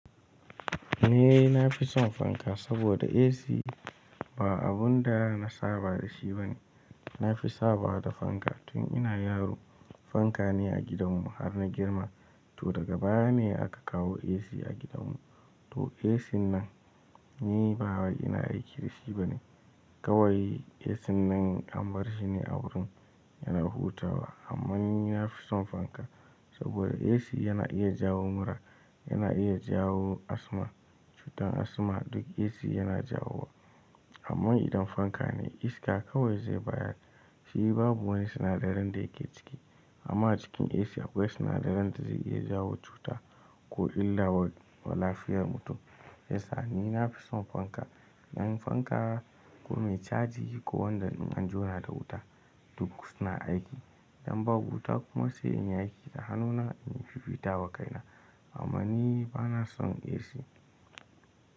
Ni nafi son fanka saboda AC ba abun da na saba da shi bane. Nafi saba da fanka tun ina yaro, fanka ne a gidanmu har na girma. To daga baya ne aka kawo AC a gidanmu. To AC nan ni ba wai ina aiki da shi bane. Kawai AC nan an bar shi ne a wurin yana hutawa. Ammanni nafi son fanka saboda AC yana iya jawo mura, yana iya jawo asma, cutar asma duk AC yana jawo wa. Amma idan fanka ne iska kawai zai bayar shi babu wani sinadarin da yake ciki. Amma cikin AC akwai sinadarin da zai iya jawo cuta ko illa wa, wa lafiyar mutum. Yasa ni nafi son fanka, ɗan fanka ko mai caji ko wanda in an jona da wuta duk suna aiki idan babu wuta kuma sai in yi aiki da hanuna inyi fifita wa kaina. Amma ni bana son AC.